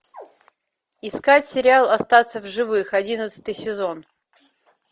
искать сериал остаться в живых одиннадцатый сезон